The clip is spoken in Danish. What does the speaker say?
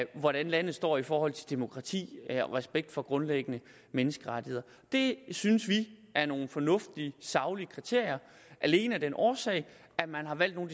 hvordan landet står i forhold til demokrati respekt for grundlæggende menneskerettigheder det synes vi er nogle fornuftige saglige kriterier alene af den årsag at man har valgt nogle